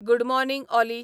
good morning Ollie